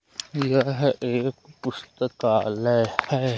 यह एक पुस्तकालय है।